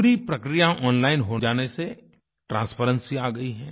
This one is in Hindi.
पूरी प्रक्रिया ओनलाइन हो जाने से ट्रांसपेरेंसी आ गई है